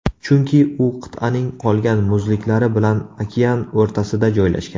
Chunki u qit’aning qolgan muzliklari bilan okean o‘rtasida joylashgan.